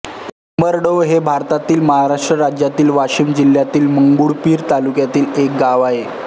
उमरडोह हे भारतातील महाराष्ट्र राज्यातील वाशिम जिल्ह्यातील मंगरुळपीर तालुक्यातील एक गाव आहे